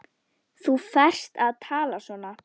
Þér ferst að tala svona!